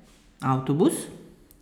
Avtobus?